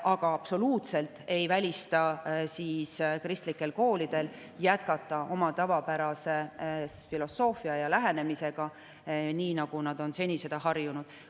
Aga ma absoluutselt ei välista, et kristlikud koolid jätkavad oma tavapärase filosoofia ja lähenemisega, nii nagu nad on seni harjunud.